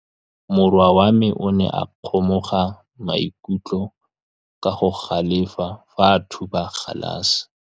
Morwa wa me o ne a kgomoga maikutlo ka go galefa fa a thuba galase.